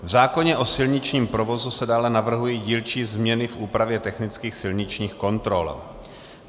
V zákoně o silničním provozu se dále navrhují dílčí změny v úpravě technických silničních kontrol.